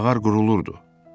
Mağar qurulurdu.